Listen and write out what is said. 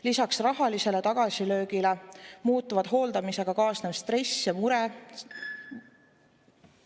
Lisaks rahalisele tagasilöögile muudavad hooldamisega kaasnev stress ja mure ...